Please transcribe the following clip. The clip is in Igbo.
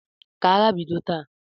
Ka agha bido taa!